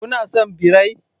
Kuna son birai?